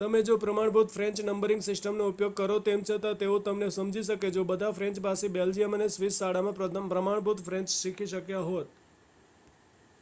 તમે જો પ્રમાણભૂત ફ્રેન્ચ નંબરિંગ સિસ્ટમનો ઉપયોગ કરો તેમ છતાં તેઓ તમને સમજી શકે જો બધા ફ્રેન્ચભાષી બેલ્જિયન અને સ્વિસ શાળામાં પ્રમાણભૂત ફ્રેન્ચ શીખી શક્યા હોત